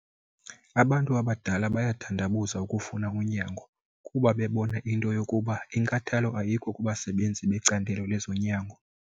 Abantu abadala bayathandabuza ukufuna unyango kuba bebona into yokuba inkathalo ayikho kubasebenzi becandelo lezonyango.